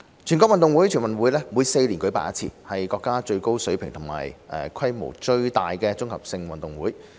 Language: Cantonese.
全國運動會每4年舉辦一次，是國家最高水平和規模最大的綜合性運動會。